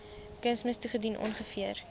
kunsmis toegedien ongeveer